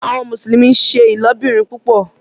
Àwọn Mùsùlùmí nṣẹ ilobìrin púpò